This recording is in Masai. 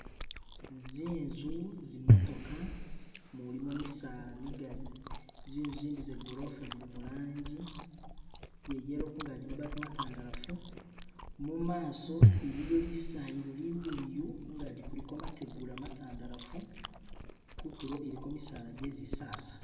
zinzu zimotoka mulimo misaala migali zinzu zindi zagolofa zili mulanji iyayelo kungaji mabati matandalafu mumaso iliyo lisayilo limiliyu kungaji kuliko mategula matandalafu kutulo iliko misaala jezisasa